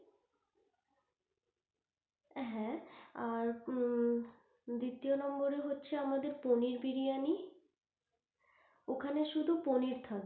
হ্যাঁ আর হম দ্বিতীয় number হচ্ছে আমাদের পনির বিরিয়ানি ওখানে শুধু পনির থাকবে।